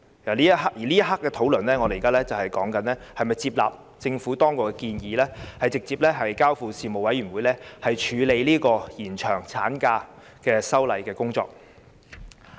此刻，我們正在討論是否接納政府當局的建議，把《條例草案》直接交付人力事務委員會，處理延長產假的修例工作。